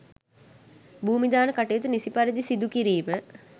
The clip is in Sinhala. භූමදාන කටයුතු නිසි පරිදි සිදුකිරීම